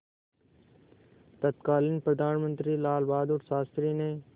तत्कालीन प्रधानमंत्री लालबहादुर शास्त्री ने